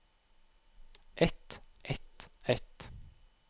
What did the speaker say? et et et